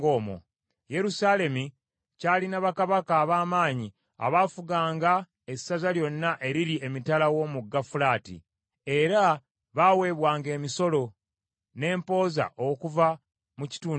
Yerusaalemi kyalina bakabaka ab’amaanyi abaafuganga essaza lyonna eriri emitala w’omugga Fulaati, era baaweebwanga emisolo, n’empooza okuva mu kitundu ekyo.